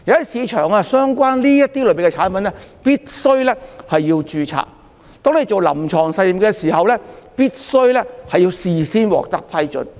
市場上相關類別的產品必須註冊，進行臨床實驗亦必須事先獲得批准。